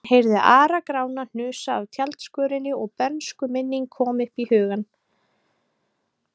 Hann heyrði Ara-Grána hnusa af tjaldskörinni og bernskuminning kom upp í hugann.